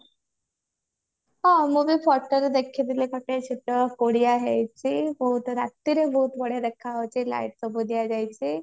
ହଁ ମୁଁ ବି photo ରେ ଦେଖିଥିଲି photo ରେ ପଡିଆ ହେଇଛି ରାତିରେ ବହୁତ ବଢିଆ ଦେଖା ଯାଉଛି light ସବୁ ଦିଅ ଯାଇଛି